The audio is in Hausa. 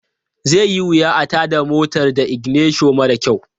Zai yi wuya a tada motar da iginisho mara kyau.